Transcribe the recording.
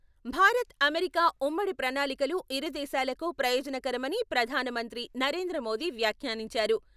Bharat America ఉమ్మడి ప్రణాళికలు ఇరుదేశాలకు ప్రయోజనకరమని ప్రధాన మంత్రి నరేంద్ర మోదీ వ్యాఖ్యానించారు.